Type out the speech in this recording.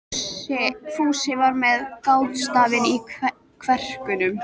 Fúsi var með grátstafinn í kverkunum.